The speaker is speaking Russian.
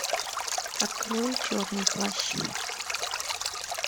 открой черный плащ